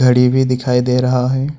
घड़ी भी दिखाई दे रहा है।